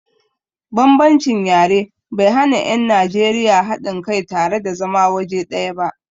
Bambancin yare bai hana 'yan Najeriya haɗin kai tare da zama waje ɗaya ba.